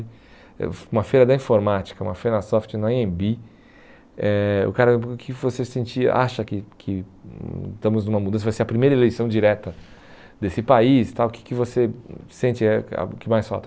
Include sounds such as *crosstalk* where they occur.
*unintelligible* uma feira da informática, uma feira soft na, *unintelligible* eh o cara, o que que você sentia, acha que que hum estamos numa mudança, vai ser a primeira eleição direta desse país tal, o que que você hum sente eh que mais falta?